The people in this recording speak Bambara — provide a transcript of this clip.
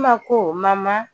Iima ko mama